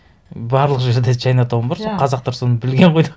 барлық жерде чайнатаун бар иә сол қазақтар соны білген ғой деп